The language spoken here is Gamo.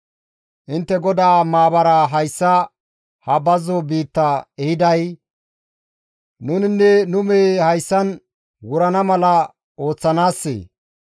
intte GODAA maabaraa hayssa ha bazzo biitta ehiday nuninne nu mehey hayssan wurana mala ooththanaassee?